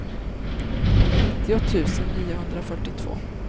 nittio tusen niohundrafyrtiotvå